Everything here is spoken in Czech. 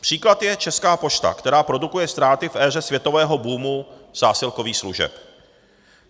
Příklad je Česká pošta, která produkuje ztráty v éře světového boomu zásilkových služeb.